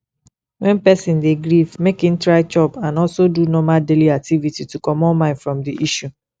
when person dey grief make im try chop and also do normal daily activities to comot mind from di issue